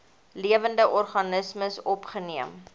lewende organismes opgeneem